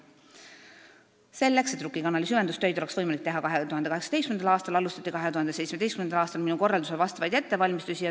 Selleks, et Rukki kanali süvendustöid oleks võimalik teha 2018. aastal, alustati 2017. aastal minu korraldusel vastavaid ettevalmistusi.